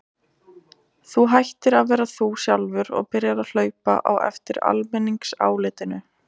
Þú hættir að vera þú sjálfur og byrjar að hlaupa á eftir almenningsálitinu.